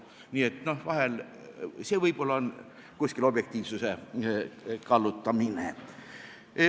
Nii et vahel võib-olla on kuskil objektiivsuse kallutamine.